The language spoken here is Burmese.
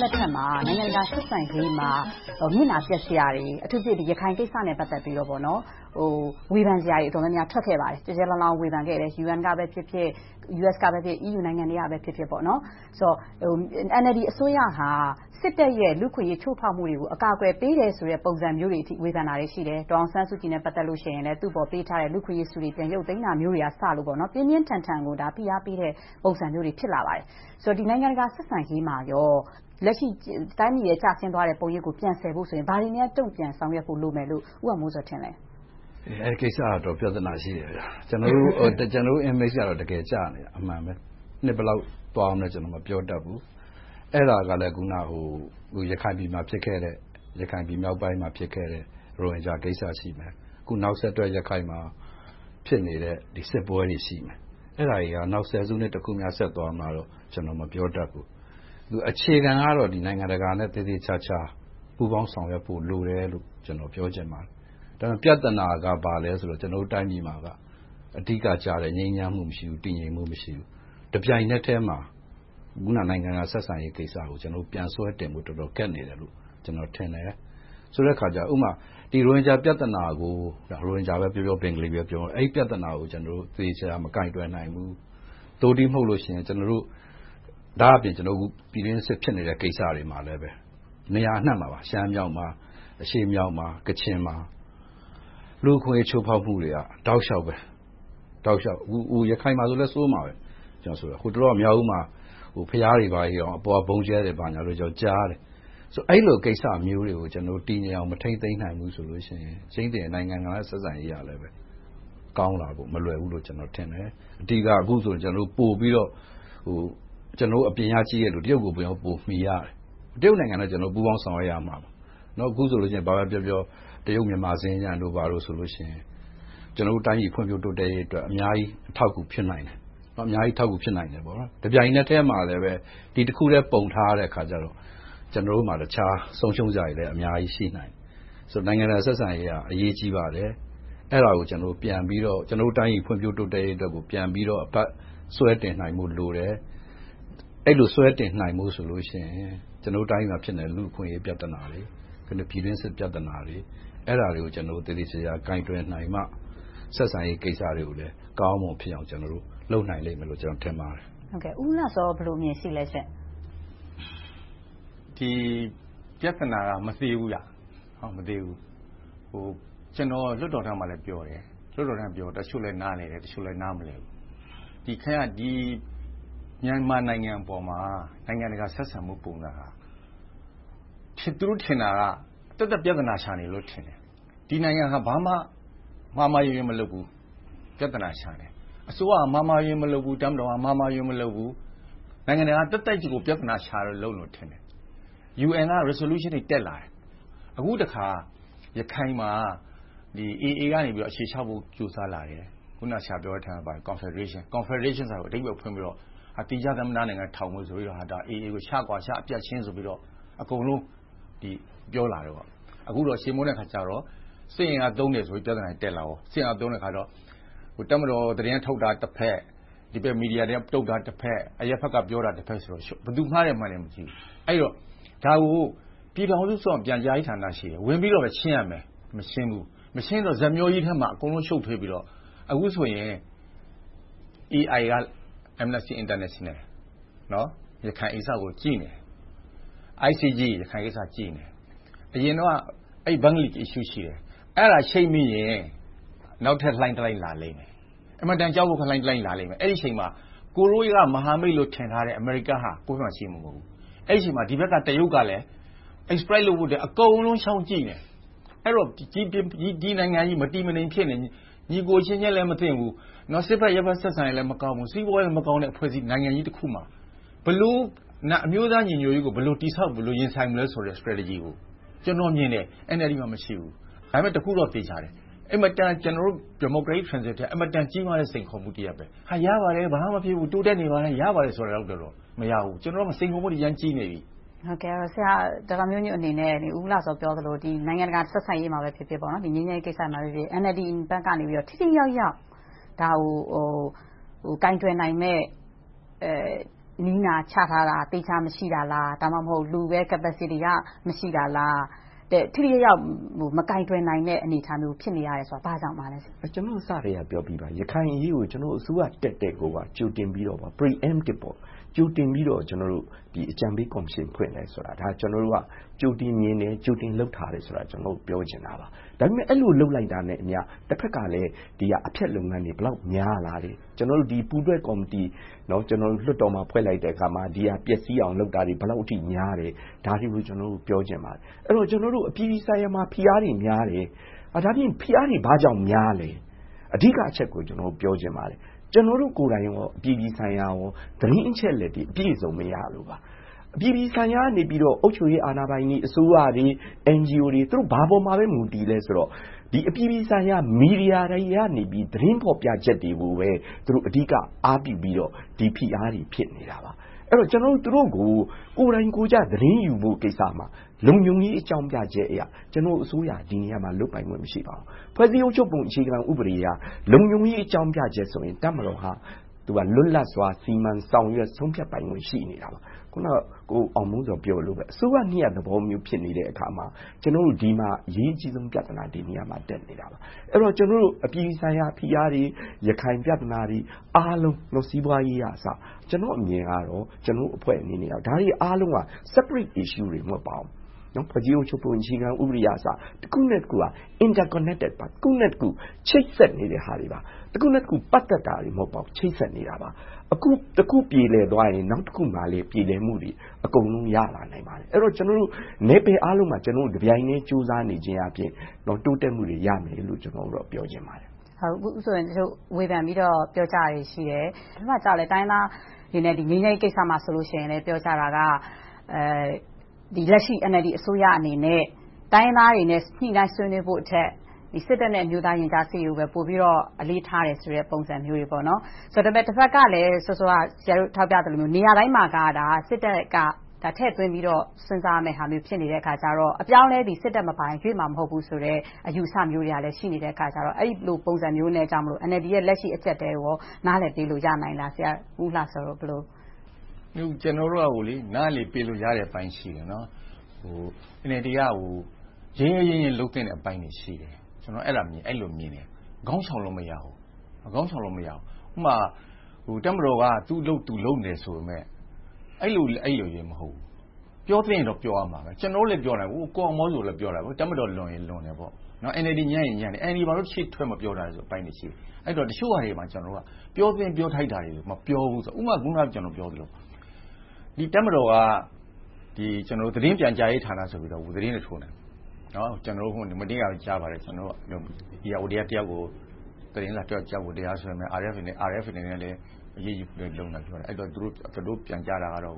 လက်ထက်မှာ နိုင်ငံတကာဆက်ဆံရေးမှာ မျက်နှာပျက်စရာတွေ အထူးသဖြင့် ရခိုင်ကိစ္စနဲ့ ပတ်သက်ပြီးတော့ ဝေဖန်စရာ တော်တော်များများ ကျယ်ကျယ်လောင်လောင် ထွက်ခဲ့ပါတယ်။ UN ကဖြစ်ဖြစ်၊ US က ဖြစ်ဖြစ်၊ EU နိုင်ငံတွေက ဝေဖန်ပြောဆိုခဲ့တယ်။ NLD အစိုးရဟာ စစ်တပ်ရဲ့ လူ့အခွင့်အရေး ချိုးဖောက်မှုတွေကို အကာအကွယ်ပေးတယ်ဆိုတဲ့ ပုံစံမျိုးတွေအထိ ဝေဖန်တာတွေ ရှိတယ်။ ဒေါ်အောင်ဆန်းစုကြည်နဲ့ ပတ်သက်လို့ရှိရင်လဲ သူကိုပေးထားတဲ့ လူ့အခွင့်အရေးဆုတွေ ပြန်ရုတ်သိမ်းတာကအစ ပြင်းပြင်းထန်ထန် ဖိအားပေးတဲ့ ပုံစံမျိုးတွေ ဖြစ်လာပါတယ်။ ဆိုတော့ နိုင်ငံတကာဆက်ဆံရေးမှာ လက်ရှိ တိုင်းပြည်ရဲ့ ကျဆင်းသွားတဲ့ ပုံရိပ်ကို ပြန်ဆယ်ဖို့ဆိုရင် ဘာတွေများ တုံ့ပြန်ဆောင်ရွက်ဖို့ လိုမယ်လို့ ဦးအောင်မိုးဇော် ထင်ပါလဲ။ ဖြေ ။ ။ အဲဒီကိစ္စက အတော်ပြဿနာရှိတယ်။ ကျနော်တို့နိုင်ငံ Image ကတော့ အတော်ကျနေတာ အမှန်ပဲ။ နှစ်ဘယ်လောက် သွားမလဲဆိုတာတော့ ကျနော် မပြောတတ်ဘူး။ အဲဒါကလဲ ရခိုင်ပြည်မှာ ဖြစ်ခဲ့တဲ့ ရိုဟင်ဂျာကိစ္စ ရှိမယ်။ အခုနောက်ဆက်တွဲ ရခိုင်မှာ ဖြစ်နေတဲ့ စစ်ပွဲတွေ ရှိမယ်။ အဲဒါတွေက နောက် ဆယ်စုနှစ်တခု ဆက်သွားမလားဆိုတာကို မပြောတတ်ဘူး။ အခြေခံကတော့ နိုင်ငံတကာနဲ့ သေသေချာချာ ပူးပေါင်းဆောင်ရွက်ဖို့ လိုတယ်လို့ ပြောချင်ပါတယ်။ ဒါပေမဲ့ ပြဿနာက ဘာလဲဆိုတော့ ကျနော်တို့ တိုင်းပြည်မှာက အဓိကကျတဲ့ ငြိမ်းချမ်းမှု မရှိဘူး။ တည်ငြိမ်မှု မရှိဘူး။ တပြိုင်နက်ထဲမှာ အခုနပြောတဲ့ နိုင်ငံတကာဆက်ဆံရေးကိစ္စကို ပြန်ဆွဲတင်ဖို့ တော်တော်လေး ခက်နေတယ်လို့ ကျနော်ထင်တယ်။ ဆိုတဲ့အခါကြတော့ ဥပမာ ဒီရိုဟင်ဂျာ ပြဿနာကို - ရိုဟင်ဂျာပဲပြောပြော၊ ဘင်္ဂလီပဲပြောပြော - ဒီပြဿနာကို သေသေချာချာ မကိုင်တွယ်နိုင်ဘူး။ သို့တည်းမဟုတ် ကျနော်တို့ ပြည်တွင်းစစ် ဖြစ်နေတဲ့ကိစ္စတွေမှာလဲ နေရာအနံှမှာပါ - ရှမ်းမြောက်မှာ၊ အရှေ့မြောက်မှာ၊ ကချင်မှာ လူ့အခွင့်အရေး ချိုးဖောက်မှုတွေက တောက်လျှောက်ပါ။ အခု ရခိုင်မှာဆိုလဲ ဆိုးပါတယ်။ ဟိုတလောက မြောက်ဦးမှာ ဘုရားတွေ ဘာတွေတောင် အပေါ်က ဗုံးကျဲတယ်ဆိုပြီ ကြားမိတယ်။ အဲဒီလိုကိစ္စမျိုးတွေကို တည်ငြိမ်အောင် မထိန်းသိမ်းနိုင်ဘူးဆိုရင် ကြိမ်သေတယ် နိုင်ငံတကာဆက်ဆံရေးကလည်း ကောင်းလာဖို့ မလွယ်ဘူးလို့ ကျနော်ထင်တယ်။ အဓိက အခုဆိုရင် ပိုပြီးတော့ ကျနော်တို့ အပြင်ကကြည့်တဲ့လူတွေမြင်တာက တရုတ်ကို ပိုမှီရတယ်။ တရုတ်နိုင်ငံနဲ့ ပိုပြီး ပူးပေါင်းဆောင်ရွက်ရမှာပါ။ အခုဆိုရင် တရုတ်-မြန်မာ စင်္ကြန်တို့ ဘာတို့ဆိုရင် ကျနော်တိုင်းပြည်ဖွံ့ဖြိုးတိုးတက်ရေးအတွက် အများကြီး အထောက်အကူ ဖြစ်နိုင်တယ်။ တပြိုင်နက်ထဲမှာပဲ ဒီတခုတည်း ပုံထားရတော့ ကျနော်တို့မှာ တခြားဆုံးးရှုံးစရာတွေလဲ အများကြီးရှိနိုင်တယ်။ နိုင်ငံတကာဆက်ဆံရေးက အရေးကြီးပါတယ်။ အဲဒါကို ပြန်ပြီးတော့ တိုင်းပြည်ဖွံ့ဖြိုးရေးအတွက်ကို ပြန်ပြီးတော့ ဆွဲတင်နိုင်ဖို့ဆိုတယ်။ အဲဒီလိုဆွဲတင်နိုင်ဖို့ဆိုရင် ကျနော်တို့တိုင်းပြည်မှာ ဖြစ်နေတဲ့ လူ့အခွင့်အရေးပြဿနာတွေ၊ ပြည်တွင်းစစ်ပြဿနာတွေ အဲဒါတွေကို ကျနော်တို့ သေသေချာချာ ကိုင်တွယ်နိုင်မှ ဆက်ဆံရေးကိစ္စတွေကိုလည်း ကောင်းကောင်းမွန်မွန်ဖြစ်အောင် လုပ်နိုင်မယ်လို့ ကျနော်ထင်ပါတယ်။ မေး ။ ။ ဦးဦးလှစော ဘယ်လိုအမြင်ရှိပါလဲ။ ဖြေ ။ ။ ဒီပြဿနာက မသေးဘူး။ ကျနော် လွှတ်တော်ထဲမှာလည်း ပြောတယ်။ တချို့လဲ နားလည်တယ်။ တချို့လဲ နားမလည်ဘူး။ မြန်မာနိုင်ငံအပေါ်မှာ နိုင်ငံတကာဆက်ဆံမှုပုံစံဟာ - သူတို့ထင်တာက သက်သက်ပြဿနာရှာနေတယ်လို့ ထင်တယ်။ ဒီနိုင်ငံဟာ ဘာမှမှားမှားယွင်းယွင်း မလုပ်ဘူး။ ပြဿနာ ရှာနေတယ်။ အစိုးရက အမှားအယွင်း မလုပ်ဘူး။ တပ်မတော်က မှားမှားယွင်းယွင်း မလုပ်ဘူး။ နိုင်ငံတကာက သက်သက်ကြီးကို ပြဿနာရှာနေတယ်လို့ ထင်တယ်။ UN က Resolutions တွေ တက်လာတယ်။ အခုတခါ ရခိုင်မှာ AA ကနေ အခြေချဖို့ ကြိုးစားလာတယ်။ အခုန ဆရာပြောတဲ့အထဲမှာပါတယ် Cofederation - သီးခြားသမ္မတနိုင်ငံ ထောင်မယ်ဆိုပြီးတော့ AA ကို ချကွာချ၊ အပြတ်ရှင်းဆိုပြီးတော့ အကုန်လုံး ပြောလာတယ်။ အခုတော့ ချေမှုန်းတဲ့အခါကြတော့ စစ်အင်အားသုံးတယ်ဆိုပြီးတော့ ပြဿနာ တက်လာတယ်။ တပ်မတော် သတင်းထုတ်တာတဘက်၊ ဒီဘက် မီဒီယာတွေက ထုတ်တာတဘက်။ အရပ်ဘက်က ပြောတာတဘက်ဆိုတော့ ဘယ်သူမှားတယ်၊ မှန်တယ်ဆိုတာကို မကြည့်ဘူး။ ဒါကို ပြည်ထောင်စုအစိုးရမှာ ပြန်ကြားရေးဌာန ရှိတယ်။ ဝင်ပြီးတော့လဲ ရှင်းရမယ်။ မရှင်းတော့ ဇာတ်မျှောကြီးထဲမှာ အကုန်လုံး ရှုပ်ထွေးပြီးတော့ အခုဆိုရင် AI – Amnesty International ရခိုင်ကိစ္စကို ကြည့်နေတယ်။ ICG က ရခိုင်ကိစ္စကို ကြည့်နေတယ်။ အရင်တုန်းက… Issue ရှိတယ်။ အဲဒါချိတ်မိရင် နောက်ထပ်လှိုင်းတလှိုင်း လာလိမ့်မယ်။ အင်မတန်ကြောက်စရာ လှိုင်းတလှိုင်း လာလိမ့်မယ်။ အဲဒီအချိန်မှာ ကိုရီးယားက မဟာမိတ်လို့ ထင်တာတဲ့ အမေရိကန်က ကိုယ့်ဘက်မှာရှိမှာ မဟုတ်ဘူး။ အဲဒီအချိန်မှာ ဒီဘက်ကတရုတ်ကလဲ Exploit လုပ်ဖို့အတွက် အကုန်လုံး ချောင်းကြည့်နေတယ်။ အဲဒီတော့ ဒီနိုင်ငံကြီး မတည်မငြိမ်ဖြစ်နေပြီး ညီအကိုအချင်းချင်း မသင့်ဘူး။ စစ်ဘက်-အရပ်ဘက် ဆက်ဆံရေးလဲ မကောင်းဘူး။ စီးပွားရေးလည်းမကောင်းတဲ့ နိုင်ငံကြီးမှာ အမျိုးသားညီညွှတ်ရေးကို ဘယ်လိုတည်ဆောက်၊ ရင်ဆိုင်မလဲဆိုတဲ့ Strategy ကို ကျနော်မြင်တယ် - NLD မှာ မရှိဘူး။ ဒါပေမဲ့ တခုတော့ သေချာတယ် ကျနော်တို့ Democratic Transition အတွက် အင်မတန်ကြီးမားတဲ့ စိန်ခေါ်မှု ဖြစ်တယ်။ ရပါတယ်.. ဘာမှမဖြစ်ဘူး.. တိုးတက်နေပါတယ် ဆိုတာလောက်နဲ့ မရဘူး။ ကျနော်တို့မှာ စိန်ခေါ်မှုတွေ အရမ်းကြီးနေပြီ။ မေး ။ ။ ဒေါက်တာမျိုးညွှန့်အနေနဲ့ ဦးဦးလှစော ပြောသလို နိုင်ငံတကာဆက်ဆံရေးမှာဖြစ်ဖြစ်၊ ငြိမ်းချမ်းရေးကိစ္စမှာဖြစ်ဖြစ် NLD အနေနဲ့ ထိထိရောက်ရောက် ဒါကို ကိုင်တွယ်နိုင်မယ့် နည်းနာချထားတာ၊ သီးခြားမရှိတာလား။ ဒါမှမဟုတ် လူပဲ Capacity က မရှိတာလား။ ထိထိရောက်ရောက် မကိုင်တွယ်နိုင်တဲ့ အနေအထားမျိုး ဖြစ်နေရတယ်ဆိုတာ ဘာကြောင့်ပါလဲ။ ဖြေ ။ ။ ကျနော်တို့ အစကတည်းက ပြောပြီးပါပြီ - ရခိုင်အရေးကို ကျနော်တို့ အစိုးရတက်ကတည်းက ကြိုတင်ပြီးတော့ preemptive အကြံပေးကော်မရှင်ဖွဲ့ခဲ့တယ်။ ဒါက ကျနော်တို့က ကြိုတင်မြင်တယ်၊ ကြိုတင်လုပ်ထားတယ်ဆိုတာကို ပြောချင်တာပါ။ ဒါပေမဲ့ အဲဒီလို လုပ်လိုက်တာနဲ့အမျှ တဘက်က အဖျက်လုပ်ငန်းတွေ ဘယ်လောက် များလာလဲ။ ကျနော်တို့ ပူးတွဲကော်မတီ လွှတ်တော်မှာ ဖွဲ့လိုက်တဲ့အခါမှာ ဒီဟာကို ပျက်စီးအောင်လုပ်တာတွေ ဘယ်လောက်အထိ များတယ်ဆိုတာကို ပြောချင်ပါတယ်။ ကျနော်တို့ အပြည်ပြည်ဆိုင်ရာမှာ ဖိအားတွေများတယ်။ ဘာကြောင့် ဖိအားတွေ ဘာကြောင့်များလဲ။ အဓိကအချက်ကို ပြောချင်ပါတယ်။ ကျနော်တို့ကိုယ်တိုင်နဲ့ အပြည်ပြည်ဆိုင်ရာတို့ သတင်းအချက်အလက်တွေ အပြည့်အစုံ မရလို့ပါ။ အပြည်ပြည်ဆိုင်ရာကနေ အုပ်ချုပ်ရေးအာဏာပိုင်တွေ၊ အစိုးရတွေ၊ အန်ဂျီအိုတွေ ဘာပေါ်မှာ မူတည်သလဲဆိုတော့ အပြည်ပြည်ဆိုင်ရာ မီဒီယာတိုင်း ရနေတဲ့ သတင်းဖော်ပြချက်တွေကိုပဲ အဓိကအားပြုပြီးတော့ ဒီဖိအားတွေ ဖြစ်နေတာပါ။ အဲဒီတော့ ကျနော်တို့ သူတို့ကို ကိုယ်တိုင်ကိုယ်ကျ သတင်းယူဖို့ကိစ္စမှာ လုံခြုံရေးအကြောင်းပြချက်အရ ကျနော်တို့အစိုးရက ဒီနေရာမှာ လုပ်ပိုင်ခွင့် မရှိခဲ့ပါဘူး။ ဖွဲ့စည်းအုပ်ချုပ်ပုံ အခြေခံဥပဒေအရ လုံခြုံရေးအကြောင်းပြချက်ဆိုရင် တပ်မတော်က လွတ်လပ်စွာ စီမံဆောင်ရွက်ဆုံးဖြတ်ပိုင်ခွင့် ရှိနေတာပါ။ အခုန ကိုအောင်မိုးဇော် ပြောသလိုမျိုး အစိုးရနှစ်ရပ် ရှိနေတဲ့အခါမှာ ကျနော်တို့ ဒီမှာ အရေးကြီးဆုံး ပြဿနာက ဒီနေရာမှာ တက်နေတာပါ။ အပြည်ပြည်ဆိုင်ရာ ဖိအားတွေ၊ ရခိုင်ပြဿနာတွေ၊ အားလုံး စီးပွားရေးကအစ ကျနော့်အမြင်ကတော့ ကျနော်တို့အဖွဲ့အနေနဲ့ ဒါတွေက Separate Issues တွေ မဟုတ်ပါဘူး။ ဖွဲ့စည်းအုပ်ချုပ်ပုံ အခြေခံဥပဒေကအစ တခုနဲ့တခုက Interconnected ပါ။ တခုနဲ့တခု ချိတ်ဆက်နေတဲ့ဟာတွေပါ။ တခုနဲ့တခု ပတ်သက်နေတာတွေ မဟုတ်ပါဘူး။ ချိတ်ဆက်နေတာပါ။ အခု တခုပြေလည်သွားရင်၊ နောက်တခုမှာလဲ ပြေလည်မှုတွေ အကုန်လုံး ရနိုင်ပါတယ်။ အဲဒါကြောင့် ကျနော်တို့ နယ်ပယ်အားလုံးမှာ တပြိုင်တည်း ကြိုးစားနေခြင်းအားဖြင့် တိုးတက်မှုတွေရမယ်လို့ ကျနော်အနေနဲ့ ပြောချင်ပါတယ်။ မေး ။ ။ ဝေဖန်ပြီးတော့ ပြောဆိုတာတွေရှိတယ် တိုင်းရင်းသားတွေ ငြိမ်းချမ်းရေးကိစ္စမှာဆိုရင်လဲ ပြောကြတာက လက်ရှိ NLD အစိုးရအနေနဲ့ တိုင်းရင်းသားတွေနဲ့ ညှိနှိုင်းဆွေးနွေးဖို့ထက် စစ်တပ်နဲ့ ရင်ကြားစေ့ရေးကိုပဲ ပိုပြီးတော့ အလေးထားတယ်ဆိုတဲ့ ပုံစံမျိုးတွေ ဖြစ်နေတယ်။ တဘက်ကလဲ စောစောက ဆရာတို့ထောက်ပြသလို နေရာတိုင်းမှာက စစ်တပ်က ထည့်သွင်းပြီးတော့ စဉ်းစားရမယ့် အနေအထားဖြစ်နေတော့ အပြောင်းအလဲတွေက စစ်တပ်မပါရင် ဖြစ်မှာမဟုတ်ဘူးဆိုတဲ့ အယူအဆမျိုးတွေကလဲ ရှိနေတယ်။ အဲဒီလိုပုံစံမျိုးနဲ့ NLD ရဲ့ လက်ရှိအကျပ်အတည်ကို နားလည်ပေးလို့ ရနိုင်လား။ ဖြေ ။ ။ ကျနော်တို့က နားလည်ပေးလို့ရတဲ့ အပိုင်း ရှိတယ်။ NLD က ရဲရဲရင့်ရင့်နဲ့ လုပ်သင့်တဲ့အပိုင်းတွေ ရှိတယ်။ ကျနော်က အဲဒီလိုမြင်တယ် - ခေါင်းရှောင်လို့ မရဘူး။ ဥပမာ တပ်မတော်က သူ့အလုပ် သူလုပ်မယ်ဆိုပေမယ့် အဲဒီလိုလဲ မဟုတ်ဘူး - ပြောသင့်ရင်တော့ ပြောရမှာပဲ။ ကျနော်တို့လဲ ပြောနေတယ်။ ကိုအောင်မိုးဇော်လည်း ပြောနေတယ်။ တပ်မတော်လွန်ရင် လွန်တယ်ပေါ့။ NLD ညံ့ရင် ညံ့တယ်ပေ့ါ။ NLD ဘာဖြစ်လို့ ရှေ့ထွက်မပြောတာလဲဆိုတဲ့ အပိုင်းတွေ ရှိတယ်။ တချို့ဟာတွေမှာ ပြောသင့်ပြောထိုက်တာတွေကို မပြောဘူး။ ဥပမာ အခုန ကျနော်ပြောသလို တပ်မတော်က သတင်းပြန်ကြားရေးဌာနဆိုပြီး သတင်းတွေ ထုတ်နေတယ်။ မနေ့ကပဲ ကြားပါတယ် -- ဧရာဝတီက သတင်းထောက်တယောက်ကို တရားစွဲမယ်။ RFA ကိုလည်း အရေးယူဖို့ လုပ်နေတယ် - သူတို့ပြန်ကြားတာကတော့